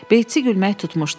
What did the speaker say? Beytsi gülmək tutmuşdu.